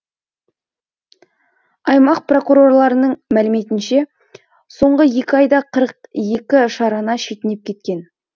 аймақ прокурорларының мәліметінше соңғы екі айда қырық екі шарана шетінеп кеткен